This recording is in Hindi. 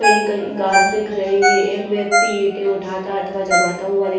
कहीं कहीं घास दिख रही हैं एक व्यक्ति ईटे उठाता अथवा जमाता हुआ दिख--